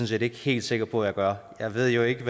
set ikke helt sikker på at jeg gør jeg ved jo ikke